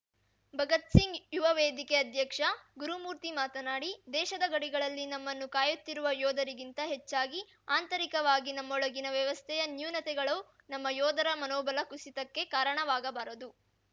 ಭಗತ್‌ ಸಿಂಗ್‌ ಯುವವೇದಿಕೆ ಅಧ್ಯಕ್ಷ ಗುರುಮೂರ್ತಿ ಮಾತನಾಡಿ ದೇಶದ ಗಡಿಗಳಲ್ಲಿ ನಮ್ಮನ್ನು ಕಾಯುತ್ತಿರುವ ಯೋಧರಿಗಿಂತ ಹೆಚ್ಚಾಗಿ ಆಂತರಿಕವಾಗಿ ನಮ್ಮೊಳಗಿನ ವ್ಯವಸ್ಥೆಯ ನ್ಯೂನತೆಗಳು ನಮ್ಮ ಯೋಧರ ಮನೋಬಲ ಕುಸಿತಕ್ಕೆ ಕಾರಣವಾಗಬಾರದು